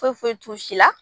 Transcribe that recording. Foyi foyi t'u si la